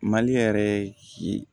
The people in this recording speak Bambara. Mali yɛrɛ si